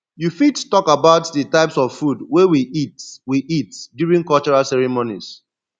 you fit talk about di types of food wey we eat we eat during cultural ceremonies